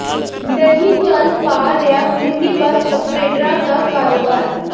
ਨਹੀਂ ਚੱਲ ਪਾ ਰਿਹਾ ਮਿੰਨੀ ਬੱਸ ਓਪਰੇਟਰਾਂ ਦਾ ਕਾਰੋਬਾਰ